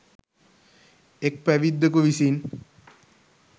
එක් පැවිද්දකු විසින්